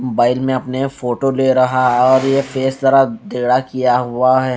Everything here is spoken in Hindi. बाइक में अपने फोटो ले रहा है और ये फेस जरा तैरा किया हुआ है.